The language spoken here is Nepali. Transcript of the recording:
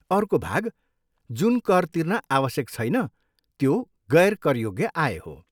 अर्को भाग जुन कर तिर्न आवश्यक छैन त्यो गैर करयोग्य आय हो।